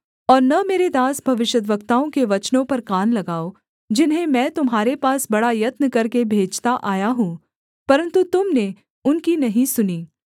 और न मेरे दास भविष्यद्वक्ताओं के वचनों पर कान लगाओ जिन्हें मैं तुम्हारे पास बड़ा यत्न करके भेजता आया हूँ परन्तु तुम ने उनकी नहीं सुनी